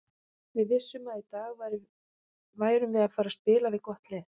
Við vissum að í dag værum við að fara spila við gott lið.